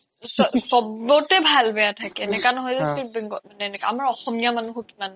চ্'বতে ভাল বেয়া থাকে এনেকা নহয় যে bengali আমাৰ অসমীয়া কিমান